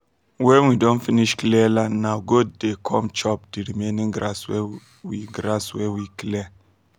when we don finsh clear land na goat dey come chop the remaining grass wey we grass wey we clear